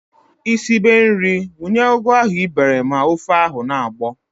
Ị sibe nri, wunye ugu ahụ ị bere ma ofe ahụ na-agbọ!